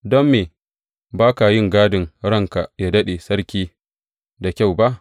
Don me ba ka yi gadin ranka yă daɗe, sarki da kyau ba?